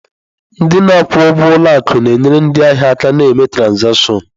Ndị na-akwụ ụgwọ ụlọ akụ na-enyere ndị ahịa aka ná ime trazatịọṅ.